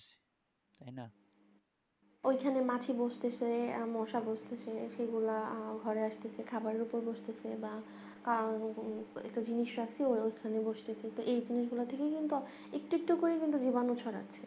এগুলো মাছি বসতেসে মশা বসতেসে সেগুলা আসতেসে খাবারের ওপর বসতেসে এবং একটা জিনিস আমাদের সবসময় খেয়াল রাখতে হবে যে এই জিনিস গুলা থেকে একটু একটু করে কিন্তু জীবাণু ছড়ায়